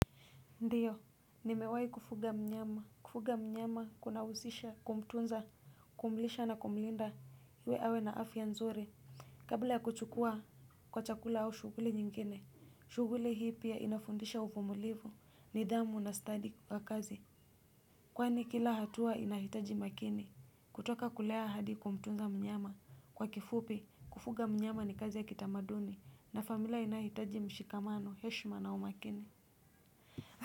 Ndiyo, nimewahi kufuga mnyama, kufuga mnyama kuna husisha, kumtunza, kumlisha na kumlinda, iwe awe na afia nzuri, kabla ya kuchukua kwa chakula au shughuli nyingine, shughuli hii pia inafundisha uvumulivu, nidhamu na stadi kwa kazi, kwani kila hatua inahitaji makini, kutoka kulea hadi kumtunza mnyama, kwa kifupi, kufuga mnyama ni kazi ya kitamaduni, na familia inahitaji mshikamano, heshma na umakini.